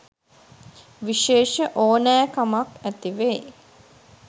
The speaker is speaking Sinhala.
විශේෂ ඕනෑකමක්‌ ඇතිවෙයි.